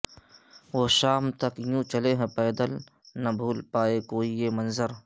وہ شام تک یوں چلے ہیں پیدل نہ بھول پائے کوئی یہ منظر